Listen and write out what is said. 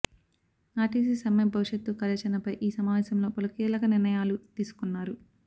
RTC సమ్మె భవిష్యత్తు కార్యాచరణపై ఈ సమావేశంలో పలు కీలక నిర్ణయాలు తీసుకున్నారు